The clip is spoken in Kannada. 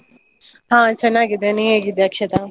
ಹಾ ಚೆನ್ನಾಗಿದ್ದೇನೆ. ನೀ ಹೇಗಿದ್ದೀಯ ಅಕ್ಷತ?